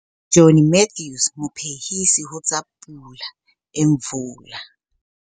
Jenny Mathews, Mophehisi ho tsa Pula Imvula.